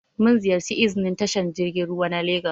Mun ziƴarci iznin tashar jirgin ruwa na legas.